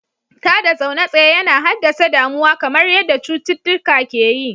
Tada zaune tsaye yana haddasa damuwa kamar yadda cututtuka ke yi.